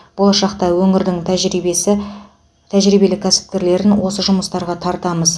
болашақта өңірдің тәжірибесі тәжірибелі кәсіпкерлерін осы жұмыстарға тартамыз